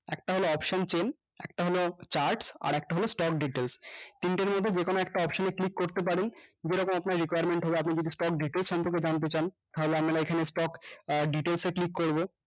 একটা হলো option chain একটা হলো chart আরেকটা হলো stock details তিনটের মধ্যে যেকোনো একটা option এ click করতে পারেন যেরকম আপনার requirement হবে আপনি যদি আপনি যদি stock details সম্পর্কে জানতে চান তাহলে আমরা এখানে stock আহ details এ click করবো